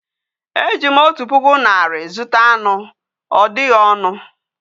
Ejim otu puku nari zuta any. odighi onu